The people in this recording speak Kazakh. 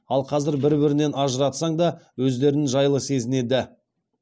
ал қазір бір бірінен ажыратсаң да өздерін жайлы сезінеді